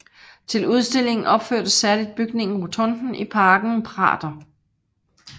Til udstillingen opførtes særligt bygningen Rotunden i parken Prater